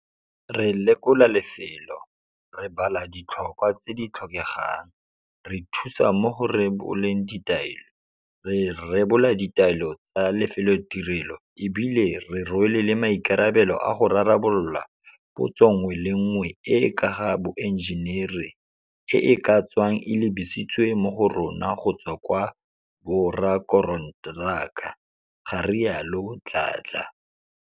Re lekola lefelo, re bala ditlhokwa tse di tlhokegang, re thusa mo go re boleng ditaelo, re rebola di taelo tsa lefelotirelo e bile re rwele le maikarabelo a go rarabolola potso nngwe le nngwe e e ka ga boenjenere e e ka tswang e lebisitswe mo go rona go tswa kwa borakonteraka, ga rialo Dladla.